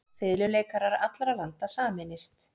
Fiðluleikarar allra landa sameinist.